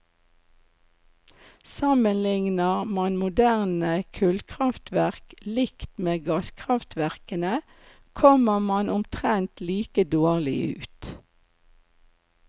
Sammenligner man moderne kullkraftverk likt med gasskraftverkene kommer man omtrent like dårlig ut.